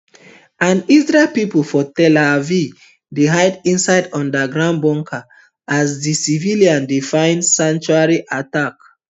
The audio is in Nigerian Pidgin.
and israel pipu for tel aviv dey hide inside underground bunker as di civilians dey find sanctuary attack